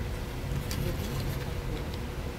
у тебя будет вне контроля